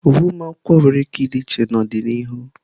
Uwe ụlọ akwụkwọ nwere ike ịdị iche n'ọdịnihu.